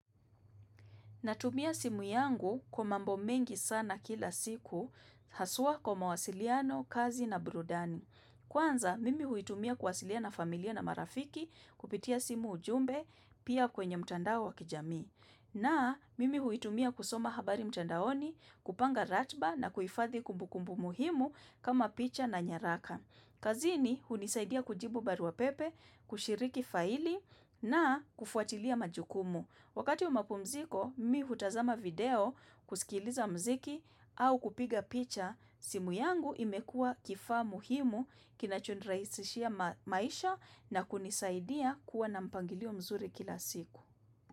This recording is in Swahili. Natumia simu yangu kwa mambo mengi sana kila siku, haswa kwa mawasiliano, kazi na burudani. Kwanza, mimi huitumia kuwasiliana na familia na marafiki kupitia simu ujumbe pia kwenye mtandao wa kijamii. Na, mimi huitumia kusoma habari mtandaoni, kupanga ratiba na kuhifadhi kumbukumbu muhimu kama picha na nyaraka. Kazini, hunisaidia kujibu baruapepe, kushiriki faili na kufuatilia majukumu. Wakati wa mapumziko, mimi hutazama video, kusikiliza muziki au kupiga picha. Simu yangu imekuwa kifaa muhimu kinachonirahisishia maisha na kunisaidia kuwa na mpangilio mzuri kila siku.